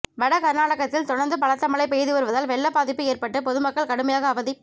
வட கர்நாடகத்தில் தொடர்ந்து பலத்த மழை பெய்துவருவதால் வெள்ள பாதிப்பு ஏற்பட்டு பொதுமக்கள் கடுமையாக அவதிப்